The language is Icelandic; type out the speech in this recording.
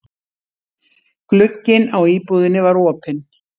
Glugginn á íbúðinni var opinn.